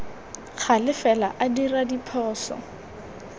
gale fela a dira diphoso